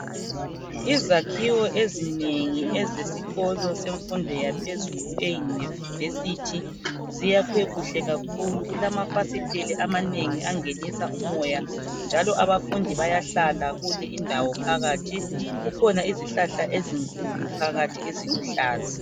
Izakhiwo ezinengi ezesikolo semfundo yaphezulu e university ziyakwe kuhle kakhulu kulamafasiteli amanengi angenisa umoya njalo abafundi bayahlala kule indawo phakathi kukhona izihlahla ezinkulu phakathi eziluhlaza